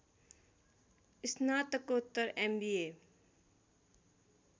स्नातकोत्तर एमबिए